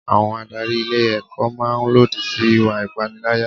Àwọn adarí ilé ẹ̀kọ́ máa lòdì sí ìwà ìpaniláyà.